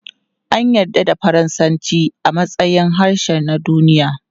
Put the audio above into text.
An yarda da Faransanci a matsayin harshe na duniya.